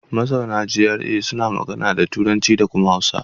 Mazauna GRA suna magana da Turanci da kuma Hausa.